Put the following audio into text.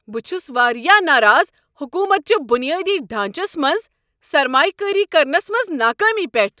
بہٕ چھس واریاہ ناراض حکوٗمت چہ بنیٲدی ڈھانچس منٛز سرمایہ کٲری کرنس منٛز ناکٲمی پیٹھ۔